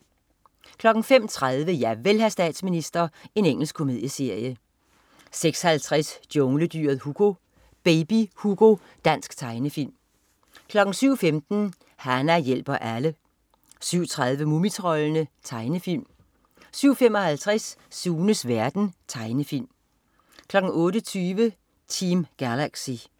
05.30 Javel, hr. statsminister. Engelsk komedieserie 06.50 Jungledyret Hugo. Baby Hugo. Dansk tegnefilm 07.15 Hana hjælper alle 07.30 Mumitroldene. Tegnefilm 07.55 Sunes verden. Tegnefilm 08.20 Team Galaxy